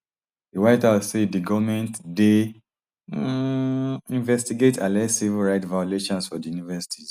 di white house say di goment dey um investigate alleged civil rights violations for di universities